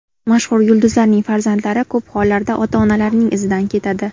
Mashhur yulduzlarning farzandlari ko‘p hollarda ota-onalarining izidan ketadi.